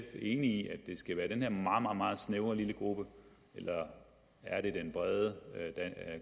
enig i at det skal være den her meget meget snævre lille gruppe eller er det den brede